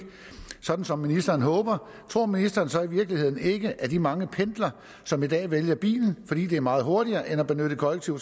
sådan som ministeren håber tror ministeren så i virkeligheden ikke at de mange pendlere som i dag vælger bilen fordi det er meget hurtigere end at benytte kollektiv